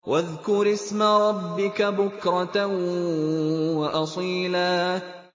وَاذْكُرِ اسْمَ رَبِّكَ بُكْرَةً وَأَصِيلًا